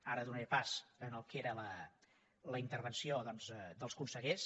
ara donaré pas al que era la intervenció doncs dels consellers